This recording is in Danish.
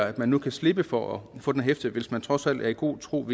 at man nu kan slippe for at få den hæftelse hvis man trods alt er i god tro